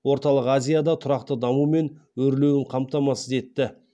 орталық азияда тұрақты даму мен өрлеуін қамтамасыз етті